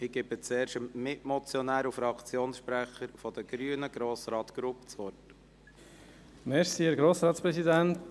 Ich gebe zuerst dem Mitmotionär und Fraktionssprecher der Grünen, Grossrat Grupp, das Wort.